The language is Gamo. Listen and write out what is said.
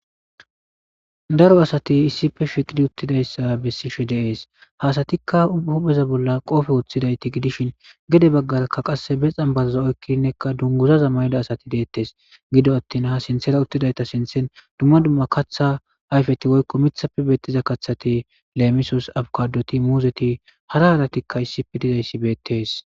Daro asati issife shiqidi uttidayssa bessi she deees haasatikka hupheza bolla qoofe woththidayti gidishin gede baggarakka qasse be xanbazaza oykkinnekka dunguzaza mayda asati deettes gido attin ha sinthera uttidayta sinthen dumma dumma katha ayfeti goykko mithapfe beettiza kathati leemisos abkadoti muuzeti hara haaratikka issife dizayssi beettees.